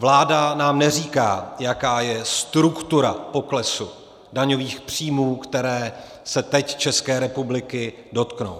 Vláda nám neříká, jaká je struktura poklesu daňových příjmů, které se teď České republiky dotknou.